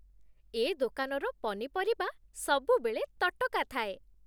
ଏ ଦୋକାନର ପନିପରିବା ସବୁବେଳେ ତଟକା ଥାଏ ।